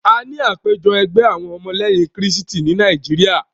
A ní àpéjọ ẹgbẹ́ àwọn ọmọ lẹ́yìn krístì tí Nàíjíríà.